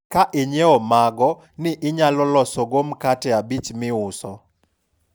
ka inyiewo mogo ni, inyalo loso go mkate abich miuso